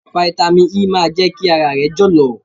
Fáítámì E máa jẹ́ kí ara rẹ jọ̀lọ̀.